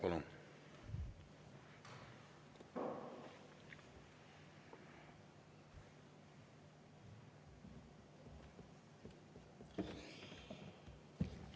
Palun!